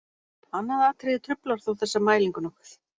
Annað atriði truflar þó þessa mælingu nokkuð.